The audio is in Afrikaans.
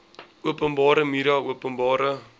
openbare media openbare